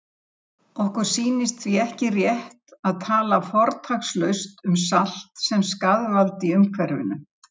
Síður bókarinnar eru auðar